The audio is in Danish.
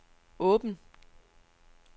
åben